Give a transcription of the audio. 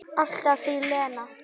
Alltaf þín Lena.